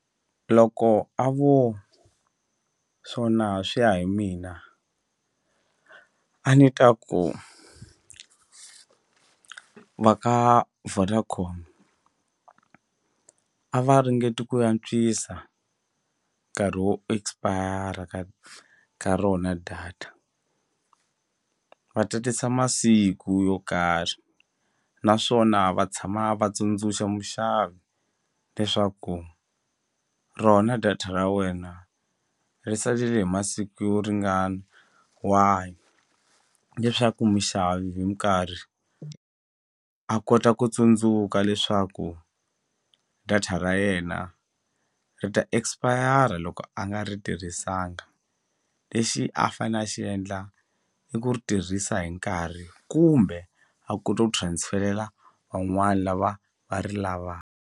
Loko a vo swona swi ya hi mina a ni ta ku va ka Vodacom a va ringeti ku antswisa nkarhi wo expire ka ka rona data va tatisa masiku yo karhi naswona va tshama va tsundzuxa muxavi leswaku rona data ra wena ri salele hi masiku yo ringana wahi leswaku muxavi hi nkarhi a kota ku tsundzuka leswaku data ra yena ri ta expire loko a nga ri tirhisanga lexi a fane a xi endla i ku ri tirhisa hi nkarhi kumbe a kota ku transfer-lela van'wani lava va ri .